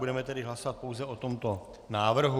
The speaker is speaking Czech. Budeme tedy hlasovat pouze o tomto návrhu.